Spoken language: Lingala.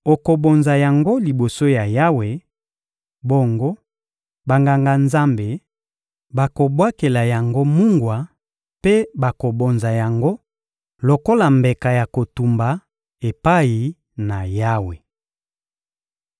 Okobonza yango liboso ya Yawe; bongo, Banganga-Nzambe bakobwakela yango mungwa mpe bakobonza yango lokola mbeka ya kotumba epai na Yawe.